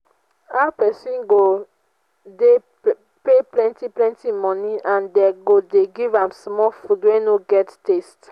how person go dey pay plenty plenty money and dey go dey give am small food wey no get thirst